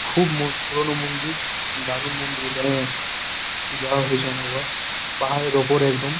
খুব ম পুরোনো মন্দিরদারুন মন্দির এখানে যাওয়া হয়েছে অনেকবার পাহাড়ের ওপর একদম।